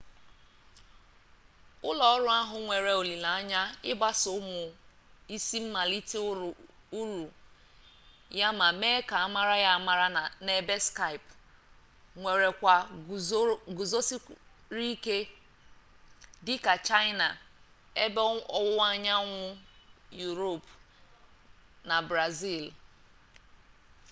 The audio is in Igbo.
ụlọọrụ ahụ nwere olileanya ịgbasa ụmụ isi mmalite uru ya ma mee ka amara ya amara n'ebe skype nwere ọkwa guzosịrị ike dịka chaịna ebe ọwụwa anyanwụ yuropu na brazili